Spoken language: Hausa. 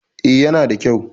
A yana da kyau